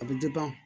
A bɛ